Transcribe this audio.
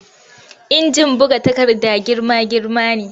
Injin buga takarda girma-girma ne